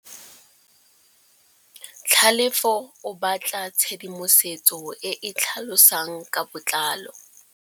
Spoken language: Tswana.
Tlhalefô o batla tshedimosetsô e e tlhalosang ka botlalô.